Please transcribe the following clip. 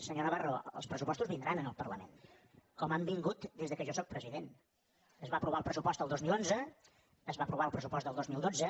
senyor navarro els pressupostos vindran al parlament com han vingut des que jo sóc president es va aprovar el pressupost el dos mil onze es va aprovar el pressupost del dos mil dotze